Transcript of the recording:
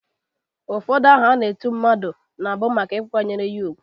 Ụfọdụ aha a na-eti mmadụ na bụ maka ịkwanyere ya ugwu.